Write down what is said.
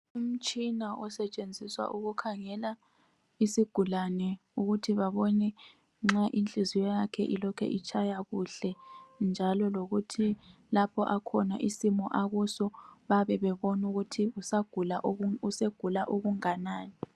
Imitshina osetshenziswa ukukhangela isigulane ukuthi babone nxa inhliziyo yakhe ilokhu itshaya kuhle njalo lokuthi lapho akhona isimo akuso bayabe bebona ukuthi usegula okunganani.